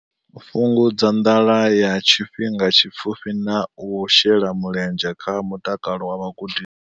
Fhungudza nḓala ya tshifhinga tshipfufhi na u shela mulenzhe kha mutakalo wa vhagudiswa.